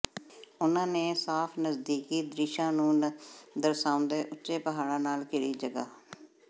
ਉਨ੍ਹਾਂ ਦੇ ਸਾਫ ਨਜ਼ਦੀਕੀ ਦ੍ਰਿਸ਼ਾਂ ਨੂੰ ਦਰਸਾਉਂਦੇ ਉੱਚੇ ਪਹਾੜਾਂ ਨਾਲ ਘਿਰੀ ਜਗ੍ਹਾ